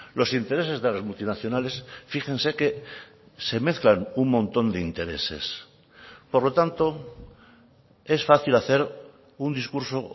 los intereses de las multinacionales fíjense que se mezclan un montón de intereses por lo tanto es fácil hacer un discurso